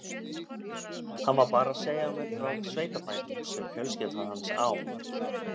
Hann var bara að segja mér frá sveitabænum sem fjölskyldan hans á.